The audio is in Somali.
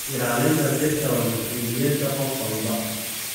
Ilaalinta dhirta waa mas'uuliyadda qof walba.